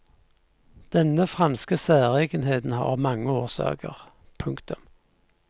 Denne franske særegenheten har mange årsaker. punktum